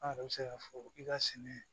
An yɛrɛ bɛ se k'a fɔ i ka sɛnɛ